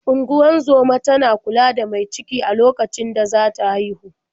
Ungozoma tana kula da mai ciki a okacin da za ta haihu.